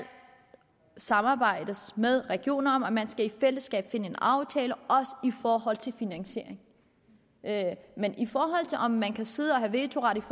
samarbejdes med regionerne om og man skal i fællesskab finde en aftale også i forhold til finansiering men i forhold til om man kan sidde og have vetoret